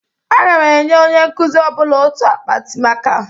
Aga m enye onye nkuzi ọbụla otu akpati maka.